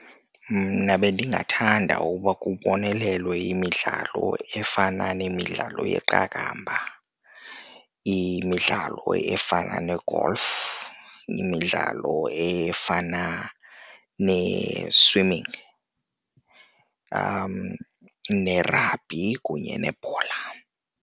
Mna bendingathanda ukuba kubonelelwe imidlalo efana nemidlalo yeqakamba, imidlalo efana ne-golf, imidlalo efana ne-swimming, nerabhi kunye nebhola.